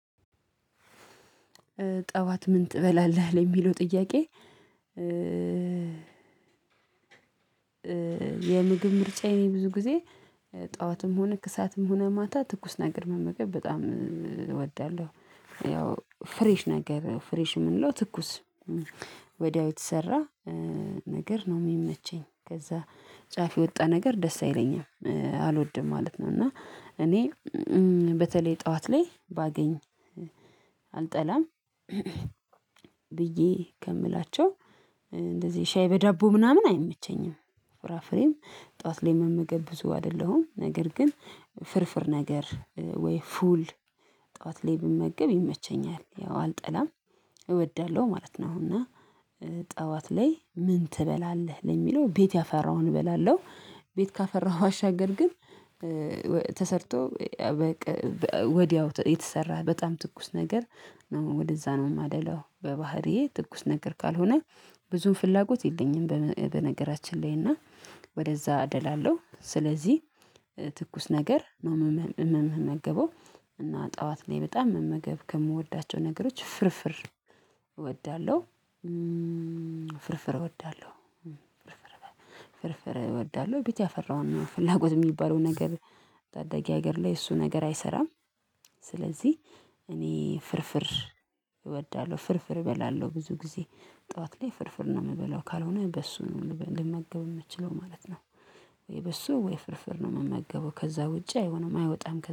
ጠዋት ምን ትበላለህ? ለሚለው ጥያቄ የምግብ ምርጫዬ ብዙ ጊዜ ጠዋትም ሆነ ከሰአትም ሆነ ማታ ትኩስ ነገር መመገብ በጣም እወዳለሁ ያው ፍሬሽ ነገር ፍሬሽ የምንለው ትኩስ ወዲያው የተሰራ ነገር ነው የሚመቸኝ ከዛ ጫፍ የወጣ ነገር ደስ አይለኝም አልወድም ማለት ነው እና እኔ በተለይ ጠዋት ላይ ባገኝ አልጠላም ብዬ ከምላቸው እንደዚህ ሻይ በዳቦ ምናምን አይመቸኝም ፍራፍሬም ጠዋት ላይ መመገብ ብዙ አይደለሁም ነገር ግን ፍርፍር ነገር ወይ ፉል ጠዋት ላይ ብመገብ ይመቸኛል ያው አልጠላም እወዳለሁ ማለት ነው እና ጠዋት ላይ ምን ትበላለህ ለሚለው ቤት ያፈራውን እበላለሁ ቤት ካፈራሁ ባሻገር ግን ተሰርቶ ወዲያው የተሰራ በጣም ትኩስ ነገር ወደዛ ነው ማደላው በባህሪዬ ትኩስ ነገር ካልሆነ ብዙም ፍላጎት የለኝም በነገራችን ላይ እና ወደዛ አደላለሁ ስለዚህ ትኩስ ነገር ነው መመመ ምመገበው እና ጠዋት ላይ በጣም መመገብ ከምወዳቸው ነገሮች ፍርፍር እወዳለሁ ፍርፍር እወዳለሁ እወዳለሁ ቤት ያፈራውን ፍላጎት የሚባለውን ነገር ታዳጊ ሀገር ላይ እሱ ነገር አይሰራም ስለዚህ እኔ ፍርፍር እወዳለሁ ፍርፍር እበላለሁ ብዙ ጊዜ ጠዋት ላይ ፍርፍር ነው የምበላው ካልሆነ በሶ ነው ልመገብ ምችለው ማለት ነው ወይ በሶ ወይ ፍርፍር ነው የምመገበው ከዛ ውጪ አይሆንም አይወጣም